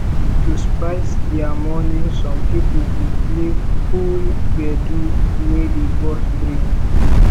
to spice their morning some pipo go play cool gbedu wey dey burst brain